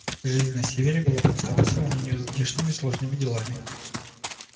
жизнь на севере была проста по сравнению здешними сложными делами